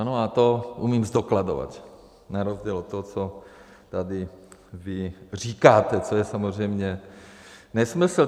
Ano, a to umím zdokladovat, na rozdíl od toho, co vy tady říkáte, to je samozřejmě nesmysl.